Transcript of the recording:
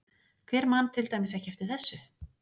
Hver man til dæmis ekki eftir þessu?